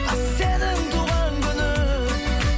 сенің туған күнің